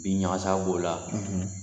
Bin ɲagasa b'o la